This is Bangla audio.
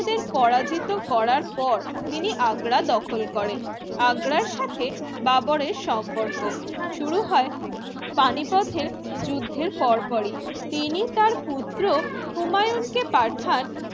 পরাজিত করার পর তিনি আগ্রা দখল করেন আগ্রার সাথে বাবরের সম্পর্ক শুরু হয় পানিপথের যুদ্ধের পরপরই, তিনি তার পুত্র হুমায়ুন কে পাঠান